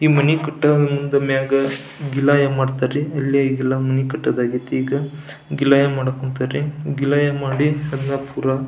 ಈ ಮನಿ ಕಟ್ಟಾ ಗಿಲಾ ಏನ್ ಮಾಡ್ತರ್ ರೀ ಇಲ್ಲಿ ಎಲ್ಲ ಮನಿ ಕಟ್ಟೋದ್ ಆಗೇತಿ ಈಗ ಗಿಲಾ ಏನ್ ಮಾಡಕ್ ಹೊಂಥಾರಿ ಗಿಲಾ ಏನ್ ಮಾಡಿ ಅದನ್ನ ಪುರ--